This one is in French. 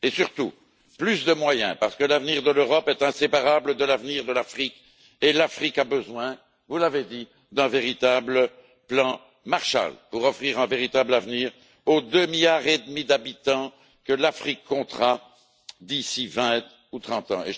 Mais aussi et surtout plus de moyens, parce que l'avenir de l'Europe est inséparable de l'avenir de l'Afrique et que l'Afrique a besoin, vous l'avez dit, d'un véritable plan Marshall pour offrir un véritable avenir aux 2,5 milliards d'habitants que l'Afrique comptera d'ici 20 ou 30 ans.